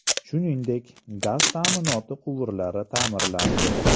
Shuningdek, gaz ta’minoti quvurlari ta’mirlandi.